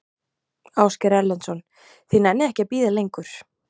Ásgeir Erlendsson: Þið nennið ekki að bíða lengur?